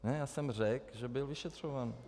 Ne, já jsem řekl, že byl vyšetřován.